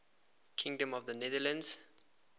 kingdom of the netherlands